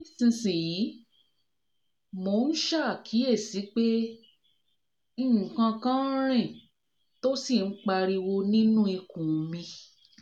nísinsìnyí mò ń ṣaàkíyèsí pé nǹkankan nń riìn tó sì ń pariwo niínú ikùn mi mi